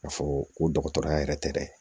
Ka fɔ ko dɔgɔtɔrɔya yɛrɛ tɛ dɛ